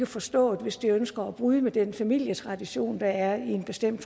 forstået hvis de ønsker at bryde med den familietradition der er i en bestemt